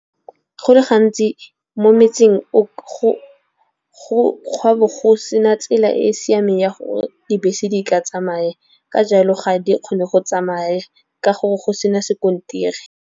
Go le gantsi mo metseng go a be go sena tsela e e siameng ya gore dibese di ka tsamaya, ka jalo ga di kgone go tsamaya ka gore go sena sekontiri.